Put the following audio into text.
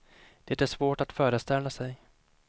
Det är svårt att föreställa sig.